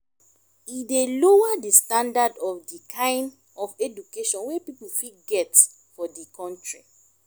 e dey lower di standand of di kind of education wey pipo fit get for di country